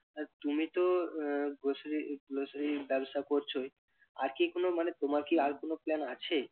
আর তুমি তো আহ grocery grocery র ব্যবসা করছই আর কি কোন মানে তোমার কি আর কোন plan আছে?